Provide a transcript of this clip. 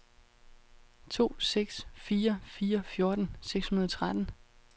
to seks fire fire fjorten seks hundrede og tretten